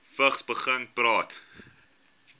vigs begin praat